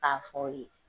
K'a fɔ ye